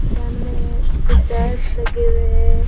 सामने कुछ चार्ट लगे हुए है।